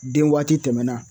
Den waati tɛmɛna